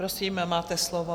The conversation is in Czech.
Prosím, máte slovo.